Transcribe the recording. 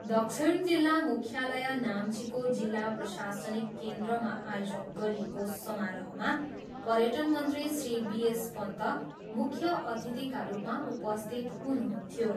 दक्षिण जिल्ला मुख्यालय नाम्चीको जिल्ला प्रशासनिक केन्द्रमा आयोजन गरिएको समारोहमा पर्यटनमन्त्री श्री बि एस पन्त मुख्य अतिथिका रूपमा उपस्थित हुनुहुन्थ्यो।